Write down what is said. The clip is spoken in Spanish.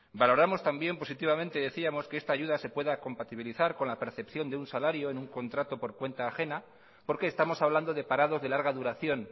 valoramos también positivamente y decíamos que esta ayuda se pueda compatibilizar con la percepción de un salario en un contrato por cuenta ajena porque estamos hablando de parados de larga duración